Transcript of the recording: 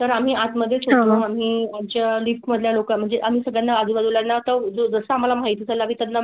तर आम्ही आत मध्येच आम्ही. लिफ्ट मध्ये म्हणजे? आम्ही सगळे आजूबाजू ला ना तो जसा आम्हाला माहिती. द्यावी त्यांना.